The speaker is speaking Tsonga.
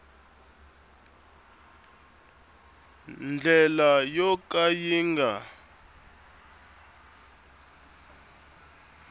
ndlela yo ka yi nga